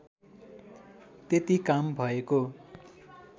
त्यति काम भएको